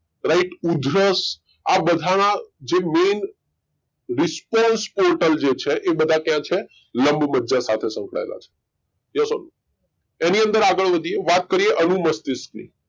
right ઉધરશ આ બધા ના જે main response portal જે છે એ બધા ક્યાં છે લંબમજ્જા સાથે સંકળાયેલા છે Yes or No એની અંદર આગળ વધીયે વાત કરીયે અનુમસ્તિષ્ક ની